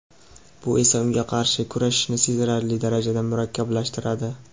bu esa unga qarshi kurashni sezilarli darajada murakkablashtiradi.